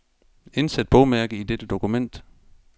Indsæt bogmærke i dette dokument.